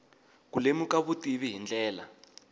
ku lemuka vutivi hi ndlela